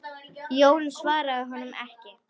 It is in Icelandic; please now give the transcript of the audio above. Jón svaraði honum ekki.